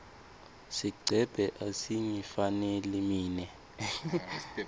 sigcebhe asingifaneli mine